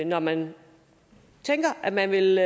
når man tænker at man vil